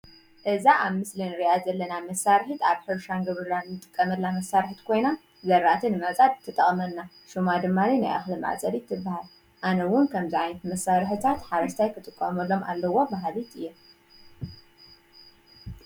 እዛ ኣብ ምስሊ ንሪኣ ዘለና መሳሪሒት ኣብ ሕርሻን ግብርናን ንጥቀመላ መሳሪሒት ኮይና ዘራእቲ ንምዕፃድ ትጠቕመና ሽማ ድማኒ ናይ እኽሊ መዕፀዲት ትባሃል፡፡ ኣነ ውን ከምዚ ዓይነት መሳርሕታት ሓረስታይ ክጥቀመሎም ኣለዎ በሃሊት እየ፡፡